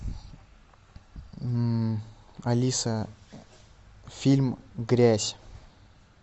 алиса фильм грязь